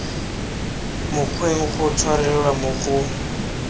mokgweng go tshwarelelwa mo go